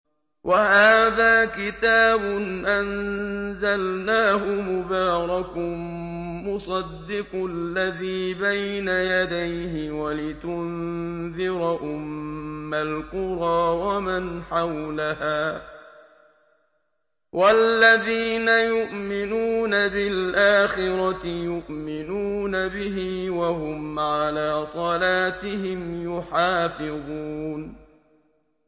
وَهَٰذَا كِتَابٌ أَنزَلْنَاهُ مُبَارَكٌ مُّصَدِّقُ الَّذِي بَيْنَ يَدَيْهِ وَلِتُنذِرَ أُمَّ الْقُرَىٰ وَمَنْ حَوْلَهَا ۚ وَالَّذِينَ يُؤْمِنُونَ بِالْآخِرَةِ يُؤْمِنُونَ بِهِ ۖ وَهُمْ عَلَىٰ صَلَاتِهِمْ يُحَافِظُونَ